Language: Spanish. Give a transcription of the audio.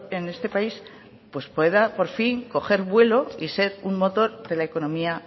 en este país pues pueda por fin coger vuelo y ser un motor de la económica